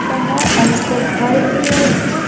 का है और एक घर भी है इसमें --